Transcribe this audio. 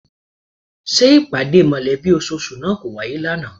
Ṣé ìpàdé mọ̀lẹ́bí ososù náà kò wáyé ní àná?